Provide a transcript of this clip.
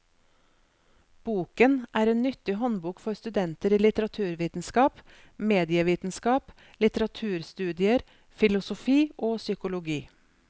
Boken er en nyttig håndbok for studenter i litteraturvitenskap, medievitenskap, litteraturstudier, filosofi og psykologi.